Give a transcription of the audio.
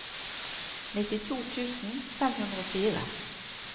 nittito tusen fem hundre og fire